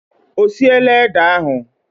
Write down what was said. Ọ siela ede ahụ?